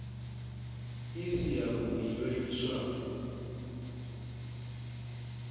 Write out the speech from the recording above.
i si yavhui yo livhiswaho